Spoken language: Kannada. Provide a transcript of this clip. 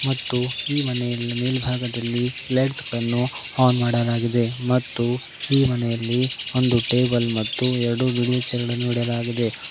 ಮತ್ತು ಈ ಮನೆ ಮೇಲ್ಬಾಗದಲ್ಲಿ ಲೈಟ್ಸ್ ಗಳನ್ನು --